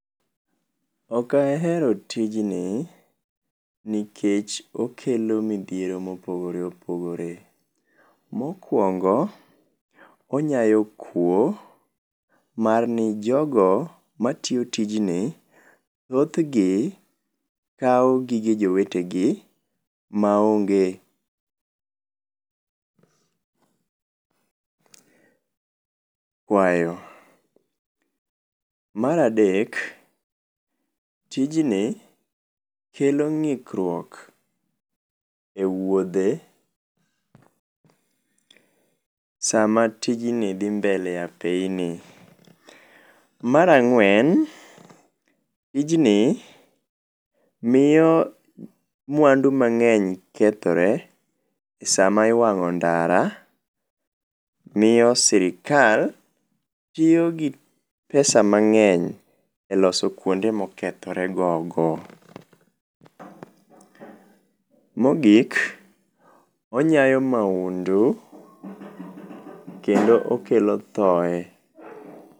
Okahero tijni nikech okelo midhiero mopogore opogore. Mokwongo, onyayo kwo, marni jogo matio tijni thothgi koa gige jowetegi maonge kwayo. Maradek, tijni kelo ng'ikrwuok e wuodhe sama tijni dhi mbele e apayni. Marang'wen, tijni mio mwandu mang'eny kethore, sama iwang'o ndara, mio sirikal tio gi pesa mang'eny e loso kwonde mokethore gogo. Mogik, onyayo maundu kendo okelo thoe.